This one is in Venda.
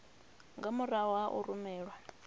nga murahu ha u rumelwa